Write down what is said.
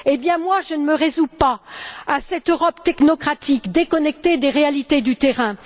Eh bien moi, je ne me résous pas à cette Europe technocratique déconnectée des réalités du terrain.